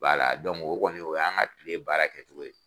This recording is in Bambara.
B'a la o kɔni o y' an ka tike baara kɛ cogo ye.